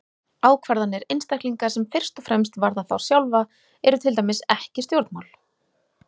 Ákvarðanir einstaklinga sem fyrst og fremst varða þá sjálfa eru til dæmis ekki stjórnmál.